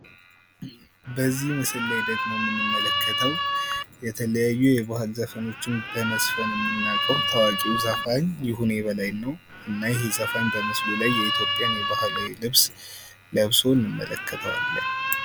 በዚህ ምስል ላይ ደግሞ የምንመለከተው የተለያዩ የባህል ዘፈኖችን በመዝፈን የምናውቀው ታዋቂው ዘፋኝ ይሁኔ በላይን ነው እና ይህ ዘፋኝ የኢትዮጵያን ባህላዊ ልብስ ለብሶ እንመለከተዋለን።